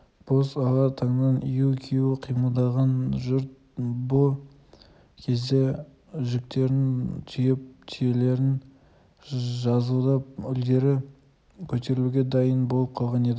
боз ала таңнан ию-қию қимылдаған жұрт бұ кезде жүктерін түйіп түйелерін жазылап үдере көтерілуге дайын болып қалған еді